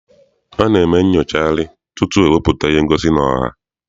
A na-eme nnyocharị tutu ewepụta ihe ngosi n'ọha.